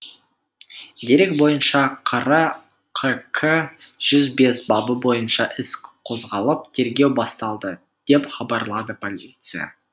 дерек бойынша қр қк жүз бес бабы бойынша іс қозғалып тергеу басталды деп хабарлады полиция